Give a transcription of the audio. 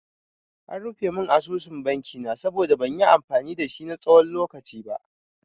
An rufe mun asusun banki na saboda ban yi amfani dashi na tsawon lokaci ba.